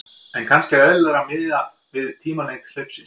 En kannski er eðlilegra að miða við tímalengd hlaupsins.